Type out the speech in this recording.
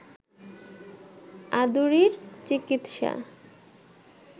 আদুরির চিকিৎসা